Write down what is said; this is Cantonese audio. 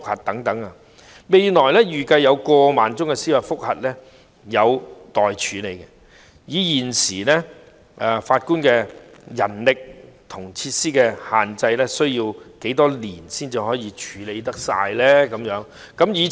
預計未來有過萬宗司法覆核個案需待處理，以現有法官的人力和設施限制，需要多少年才能處理所有個案呢？